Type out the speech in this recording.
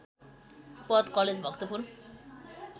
Padma college Bhaktapur